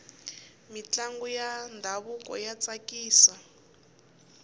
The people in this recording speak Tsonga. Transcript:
mintlangu ya ndhavuko ya tsakisa